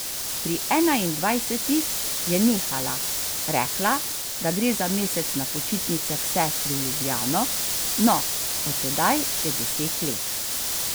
Pri enaindvajsetih je nehala, rekla, da gre za mesec na počitnice k sestri v Ljubljano, no, od tedaj je deset let.